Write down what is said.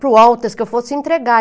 para o Walters, que eu fosse entregar.